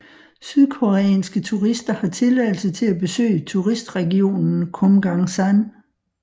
Sydkoreanske turister har tilladelse til at besøge turistregionen Kumgangsan